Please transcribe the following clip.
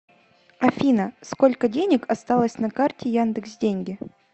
афина сколько денег осталось на карте яндекс деньги